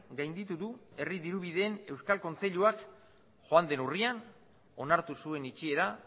gainditu du herri dirubideen euskal kontseiluak joan den urrian onartu zuen itxiera